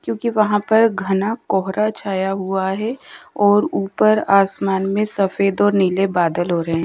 क्योंकि वहां पर घना कोहरा छाया हुआ है और ऊपर आसमान में सफेद और नीले बादल हो रहे--